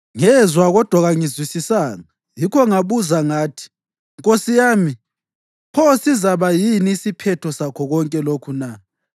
Ngezwa, kodwa kangizwisisanga. Yikho ngabuza ngathi, “Nkosi yami, pho sizaba yini isiphetho sakho konke lokhu na?”